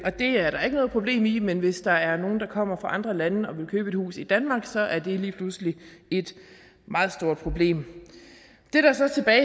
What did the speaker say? er der ikke noget problem i men hvis der er nogle der kommer fra andre lande og vil købe et hus i danmark så er det lige pludselig et meget stort problem det der så